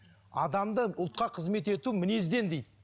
адамды ұлтқа қызмет ету мінезден дейді